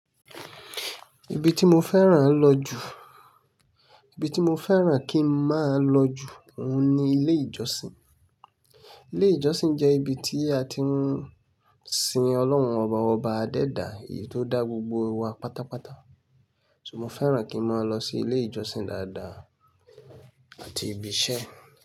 Ibi tí mo fẹ́ràn lọ jù, ibi tí mo fẹ́ràn kí n máa lọ jù óun ní ilé ìjọsìn. Ilé ìjọsìn jẹ́ ibi tí a ti ń sin Ọlọ́run ọba ọba dédà, èyí tó dá gbogbo wa pátápátá. So mo fẹ́ràn kí n máa lọ sí ilé ìjọsìn dáadáa àti ibi iṣẹ́.